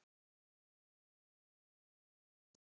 Konan horfði furðu lostin á systurnar.